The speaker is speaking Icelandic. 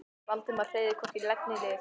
Valdimar hreyfði hvorki legg né lið.